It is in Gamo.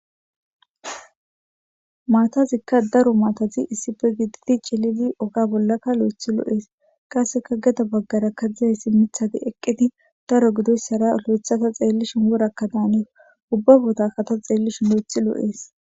maatazikka daro maatazi issife gididi cilidi oga bollakka lo7ethi loo'ees qasseka geda baggara kadzizayssi mithati eqqiti daro gidoyssara lo7ethata xeellishin worakkadaane ubba botakata xeellishu lo7ethi loo'ees